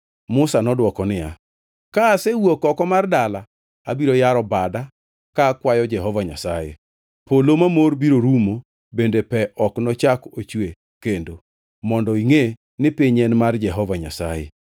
Musa nodwoko niya, “Ka asewuok oko mar dala, abiro yaro bada ka akwayo Jehova Nyasaye. Polo mamor biro rumo bende pe ok nochak ochwe kendo, mondo ingʼe ni piny en mar Jehova Nyasaye.